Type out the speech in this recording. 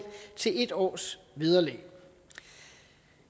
til en års vederlag